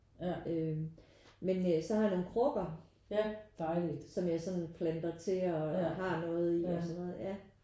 Øh men øh så har jeg nogen krukker som jeg sådan planter til og og har noget i og sådan noget ja